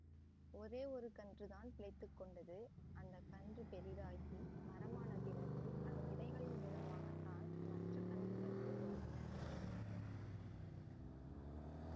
ஒரே ஒரு கன்றுதான் பிழைத்து கொண்டது அந்த கன்று பெரிதாகி மரம் ஆனபிறகு அதன் விதைகளின் மூலமாக தான் மற்ற கன்றுகள் உருவாகின